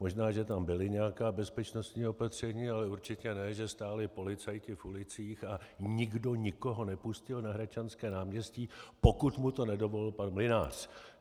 Možná že tam byla nějaká bezpečnostní opatření, ale určitě ne, že stáli policajti v ulicích a nikdo nikoho nepustil na Hradčanské náměstí, pokud mu to nedovolil pan Mynář.